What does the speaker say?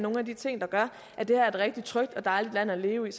nogle af de ting der gør at det her er et rigtig trygt og dejligt land at leve i